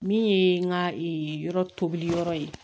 Min ye n ka yɔrɔ tobili yɔrɔ ye